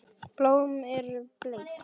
Blómin eru bleik.